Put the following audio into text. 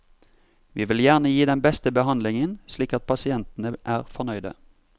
Vi vil gjerne gi den beste behandlingen, slik at pasientene er fornøyde.